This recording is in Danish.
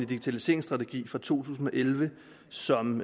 digitaliseringsstrategi fra to tusind og elleve som